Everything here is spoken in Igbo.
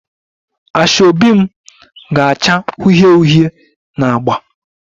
Asoebi m ga-acha uhie uhie na agba